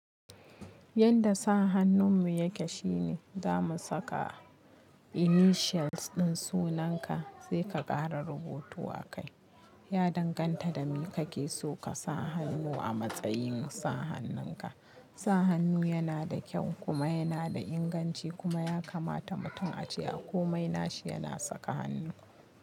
Yanda sa hannun mu yake shine za mu saka initials ɗin sunan ka sai ka ƙara rubutu a kai. Ya danganta da me kake so ka sa hannu a matsayin sa hannun ka. Sa hannu yana da kyau kuma yana da inganci kuma ya kamata mutum a ce a komai nashi yana saka hannu.